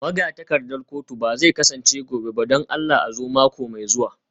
Magatakardar kotu ba zai kasance gobe ba don Allah a zo mako mai zuwa